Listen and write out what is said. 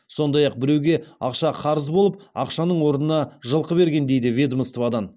сондай ақ біреуге ақша қарыз болып ақшаның орнына жылқы берген дейді ведомстводан